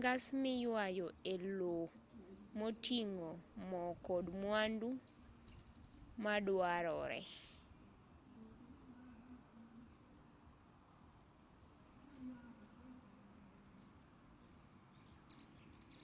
ngas miyuayo e lowo moting'o mo kod mwandu maduarore